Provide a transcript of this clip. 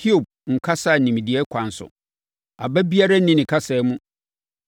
‘Hiob nnkasa nimdeɛ kwan so; aba biara nni ne kasa mu.’